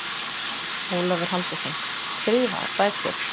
Ólafur Halldórsson, Skrifaðar bækur